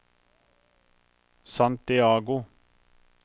Santiago